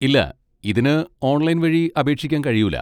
ഇല്ല, ഇതിന് ഓൺലൈൻ വഴി അപേക്ഷിക്കാൻ കഴിയൂല.